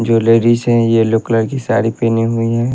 जो लेडीज है yellow colour की साड़ी पेहनी हुई है।